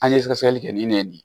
An ye sɛgɛsɛgɛli kɛ ni ne ye nin ye